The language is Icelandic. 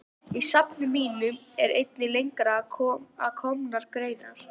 Í safni mínu eru einnig lengra að komnar greinar.